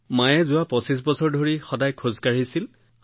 তেওঁলোকে যোৱা পঁচিশ বছৰ ধৰি একেৰাহে ৰাতিপুৱা খোজ কাঢ়িছিল